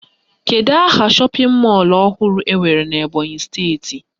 Kedụ aha shọpịn mọlụ ọhụrụ enwere n'Ebọnyị steeti?